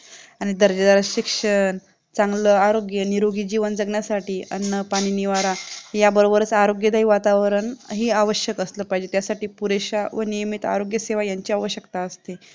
आणि दर्जा शिक्षण चांगलं आरोग्य निरोगी जीवन जगण्यासाठी अन्न पाणी निवारा याबरोबच आरोग्यदायी वातावरण हे आवश्यक असलं पाहिजे यासाठी पुरेश्या व नियमित आरोग्य सेवा यांची आवशकता असते